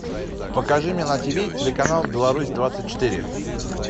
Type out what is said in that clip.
покажи мне на тв телеканал беларусь двадцать четыре